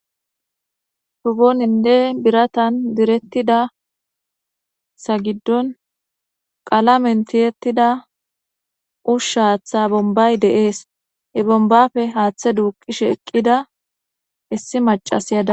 Shu oninne biratan direttida sa giddon qala mentiyettida ushsha haaththa bombay deees e bombafe haaththe duuqishe eqqida issi macas dawusi